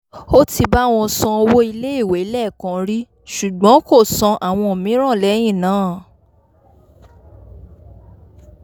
ó ti bá wọn san owó iléèwé lẹ́ẹ̀kan rí ṣùgbọ́n kò san àwọn mìíràn lẹ́yìn náà